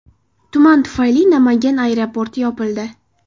Tuman tufayli Namangan aeroporti yopildi.